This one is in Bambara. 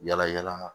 Yala yala